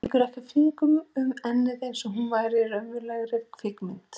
Strýkur ekki fingrunum um ennið einsog hún væri í raunverulegri kvikmynd.